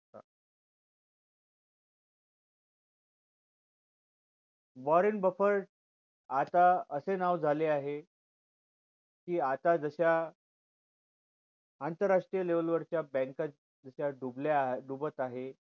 warrant Buffett आता असे नाव झाले आहे कि आता जश्या आंतराष्ट्रीय level वरच्या bank जश्या डुबल्या डुबत आहे